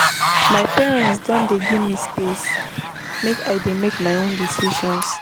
My parents don dey give me space make I dey make my own decisions.